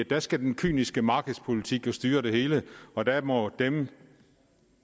der skal den kyniske markedspolitik jo styre det hele og der må dem